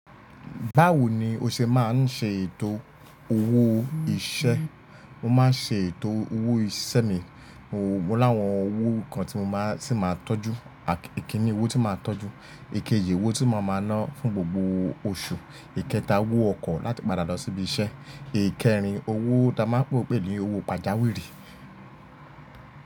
Báwo ni o ṣe máa ń ṣe ètò owó iṣẹ́? Mo máa ń ṣe ètò owó iṣẹ́ mi. Mo láwọn owó kan tí mo máa sì máa tọ́jú. Ikíni owó tí màá tọ́jú. Èkejì owó tí máa máa ná fún gbogbo oṣù. Ìkẹta owó ọkọ̀ láti padà lọ síbi iṣẹ́. Èékérin owó tí a máa ń pè pé ní owó pajawìrì.